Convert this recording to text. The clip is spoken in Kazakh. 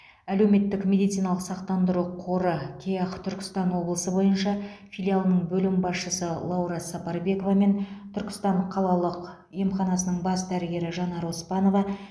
әлеуметтік медициналық сақтандыру қоры кеақ түркістан облысы бойынша филиалының бөлім басшысы лаура сапарбекова мен түркістан қалалық емханасының бас дәрігері жанар оспанова